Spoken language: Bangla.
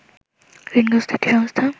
ঋণগ্রস্ত একটি সংস্থা